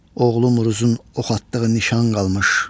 Oğlumuzun ox atdığı nişan qalmış.